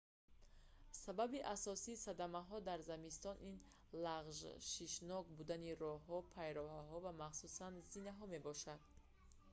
сабаби асосии садамаҳо дар зимистон ин лағжшнок будани роҳҳо пайраҳаҳо роҳҳои пиёдагард ва махсусан зинаҳо мебошад